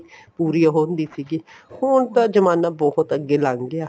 ਪੂਰੀ ਉਹ ਹੁੰਦੀ ਸੀਗੀ ਹੁਣ ਤਾਂ ਜਮਾਨਾ ਬਹੁਤ ਅੱਗੇ ਲੱਗ ਗਿਆ